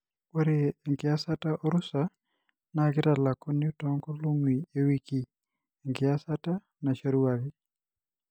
ore enkiyasata olrusa na kitalakuni tongolongi owiki engiyasata naishoruaki.